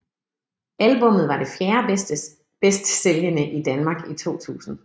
Albummet var det fjerde bedst sælgende i Danmark i 2000